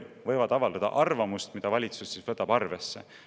Nad võivad avaldada arvamust, mida valitsus ehk võtab arvesse.